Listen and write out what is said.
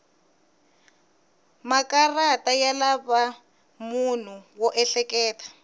makarata ya lava munhu wo ehleketa